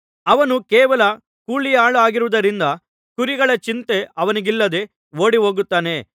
ಅವನು ಕೇವಲ ಕೂಲಿಯಾಳಾಗಿರುವುದರಿಂದ ಕುರಿಗಳ ಚಿಂತೆ ಅವನಿಗಿಲ್ಲದೆ ಓಡಿ ಹೋಗುತ್ತಾನೆ